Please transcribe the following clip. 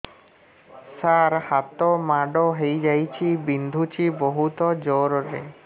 ସାର ହାତ ମାଡ଼ ହେଇଯାଇଛି ବିନ୍ଧୁଛି ବହୁତ ଜୋରରେ